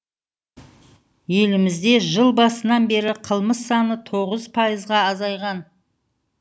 елімізде жыл басынан бері қылмыс саны тоғыз пайызға азайған